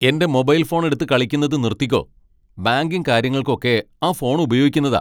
എന്റെ mobile phone എടുത്ത് കളിക്കുന്നത് നിർത്തിക്കോ. ബാങ്കിംഗ് കാര്യങ്ങൾക്ക് ഒക്കെ ആ ഫോൺ ഉപയോഗിക്കുന്നതാ .